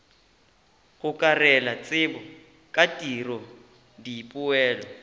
gokarela tsebo ka tiro dipoelo